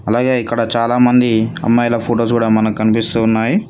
అలాగే ఇక్కడ చాలామంది అమ్మాయిల ఫొటోస్ కూడా మనకు కనిపిస్తూ ఉన్నాయి.